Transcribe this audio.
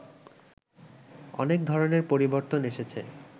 অনেক ধরনের পরিবর্তন এসেছে